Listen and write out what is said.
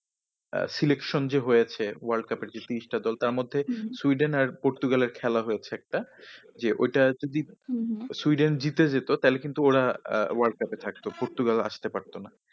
আহ selection যে হয়েছে world cup এর যে পিস্তা দল তার মধ্যে সুইডেন আর পর্তুগাল এর খেলা হয়েছে একটা। যে ওইটা যদি সুইডেন জিতে যেত তাহলে কিন্তু ওরা আহ world cup এ থাকতো পর্তুগাল আসতে পারত না।